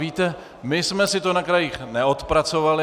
Víte, my jsme si to na krajích neodpracovali.